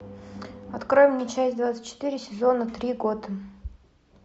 открой мне часть двадцать четыре сезона три готэм